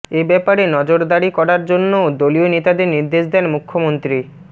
এ ব্যাপারে নজরদারি করার জন্যও দলীয় নেতাদের নির্দেশ দেন মুখ্যমন্ত্রী